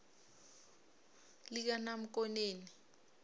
likanamkoneni